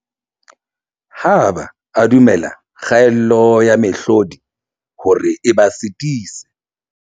Ha ba a dumella kgaello ya mehlodi hore e ba sitise.